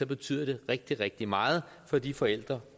betyder det rigtig rigtig meget for de forældre